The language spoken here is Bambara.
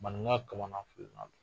Maninga kamana filina a don